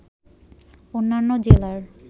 অন্যন্য জেলার